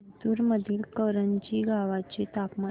जिंतूर मधील करंजी गावाचे तापमान